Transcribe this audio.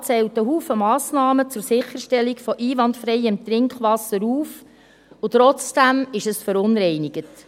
Der Regierungsrat zählt ganz viele Massnahmen zur Sicherstellung von einwandfreiem Trinkwasser auf, und trotzdem ist es verunreinigt.